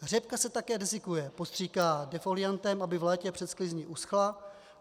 Řepka se také desikuje, postříká defoliantem, aby v létě před sklizní uschla.